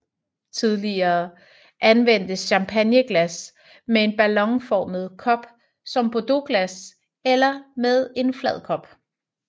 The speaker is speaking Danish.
Tidligere anvendtes champagneglas med en ballonformet kop som bordeauxglas eller med en flad kop